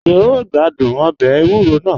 Ṣe o n gbàdún ọbẹ èwùrò náà?